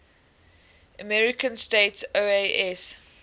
american states oas